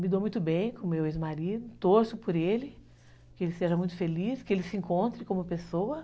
Me dou muito bem com o meu ex-marido, torço por ele, que ele seja muito feliz, que ele se encontre como pessoa.